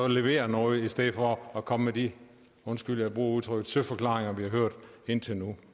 levere noget i stedet for at komme med de undskyld udtrykket søforklaringer vi har hørt indtil nu